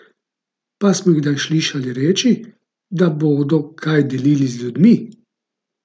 Pa smo jih kdaj slišali reči, da bodo kaj delili z ljudmi?